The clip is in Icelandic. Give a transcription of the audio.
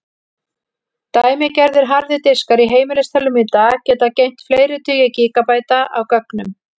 Dæmigerðir harðir diskar í heimilistölvum í dag geta geymt fleiri tugi gígabæta af gögnum.